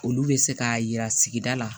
Olu bɛ se k'a yira sigida la